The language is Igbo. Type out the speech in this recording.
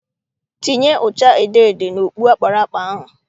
Tinye ụcha edoedo n'okpu akparakpa ahụ!